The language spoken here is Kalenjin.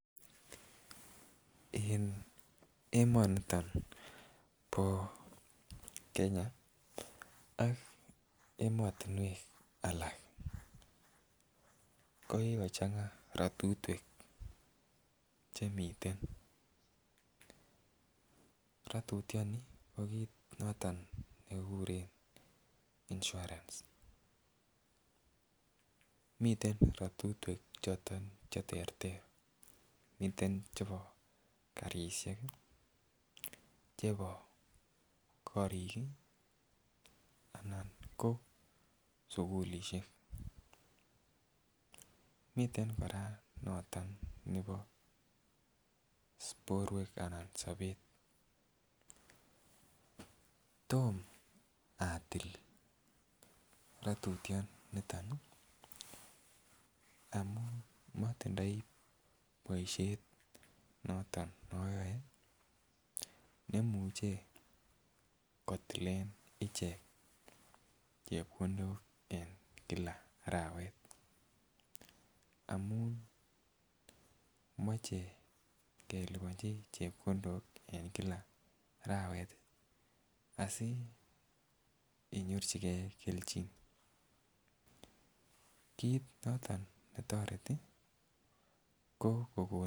En emoniton bo Kenya ak emotunwek alak kikochenga rotutwek, rotutyoni ko kit noton nekikuren insurance .miten rotutwek choton cheterter miten chebo karishek chebo korik anan ko sukulishek. Miten Koraa noton nebo borwek anan sobet, tom atil rotutyoniton amun motindoi boishet noton noyoe nemuche kotilen ichek chepkondok en kila arawet amun moche keliponchi vheoko6 en kila arawet tii asiinyorchigee keljin kit noton netoreti ko kokon.